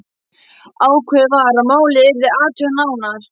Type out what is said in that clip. Ákveðið var að málið yrði athugað nánar.